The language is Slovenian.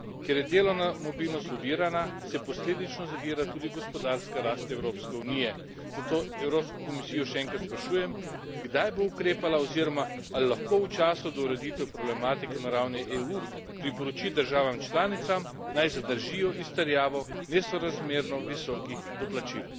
Ker je delovna mobilnost ovirana, se posledično zavira tudi gospodarska rast Evropske unije, zato Evropsko komisijo še enkrat sprašujem, kdaj bo ukrepala oziroma ali lahko v času do ureditve problematike na ravni EU priporoči državam članicam, naj zadržijo izterjavo nesorazmerno visokih doplačil.